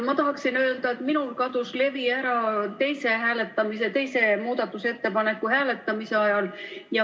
Ma tahan öelda, et minul kadus levi ära teise muudatusettepaneku hääletamise ajal.